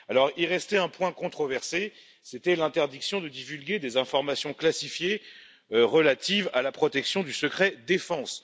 Il restait un point controversé, c'était l'interdiction de divulguer des informations classifiées relatives à la protection du secret défense.